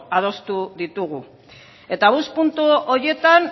adostu ditugu eta bost puntu horietan